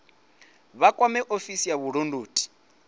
vha kwame ofisi ya vhulondoti